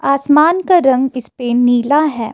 आसमान का रंग इस पे नीला है।